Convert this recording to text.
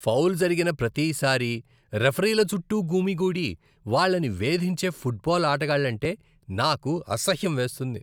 Foul జరిగిన ప్రతిసారీ రిఫరీల చుట్టూ గుమికూడి వాళ్ళని వేధించే ఫుట్బాల్ ఆటగాళ్ళంటే నాకు అసహ్యం వేస్తుంది.